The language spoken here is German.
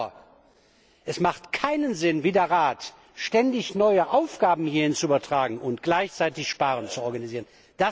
Aber es macht keinen Sinn, wie der Rat ständig neue Aufgaben hierhin zu übertragen und gleichzeitig Sparen zu organisieren.